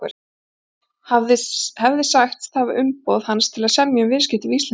hefði sagst hafa umboð hans til að semja um viðskipti við Íslendinga.